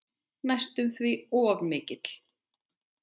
Næstum því of mikill.